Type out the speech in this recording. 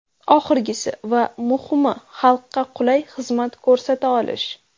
Oxirgisi va muhimi xalqqa qulay xizmat ko‘rsata olish.